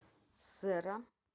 серра